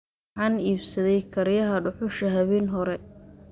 Waxaan iibsaday kariyaha dhuxusha habeen hore